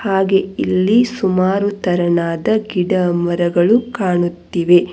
ಹಾಗೆ ಇಲ್ಲಿ ಸುಮಾರು ತರನಾದ ಗಿಡಮರಗಳು ಕಾಣುತ್ತಿವೆ.